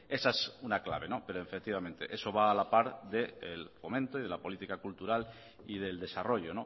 esa es una clave pero efectivamente eso va a la par del fomento y de la política cultural y del desarrollo